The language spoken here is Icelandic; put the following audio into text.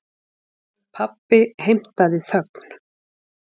Pabbi heimtaði þögn.